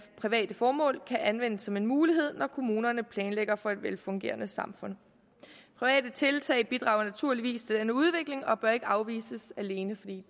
private formål kan anvendes som en mulighed når kommunerne planlægger for et velfungerende samfund private tiltag bidrager naturligvis til denne udvikling og bør ikke afvises alene fordi